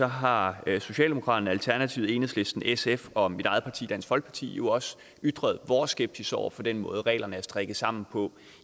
har socialdemokratiet alternativet enhedslisten sf og mit eget parti dansk folkeparti jo også ytret vores skepsis over for den måde reglerne er strikket sammen på